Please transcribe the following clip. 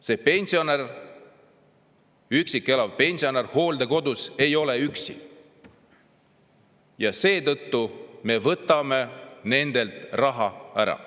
See pensionär, üksi elav pensionär hooldekodus ei ole üksi ja seetõttu me võtame nendelt raha ära.